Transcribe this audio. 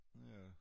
Ja